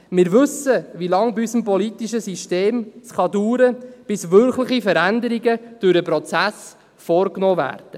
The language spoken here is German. Wir wissen, wie lange es in unserem politischen System dauern kann, bis wirkliche Veränderungen durch den Prozess vorgenommen werden.